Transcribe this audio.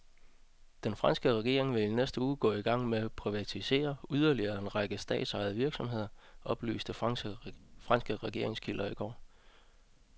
Den franske regering vil i næste uge gå i gang med at privatisere yderligere en række statsejede virksomheder, oplyste franske regeringskilder i går.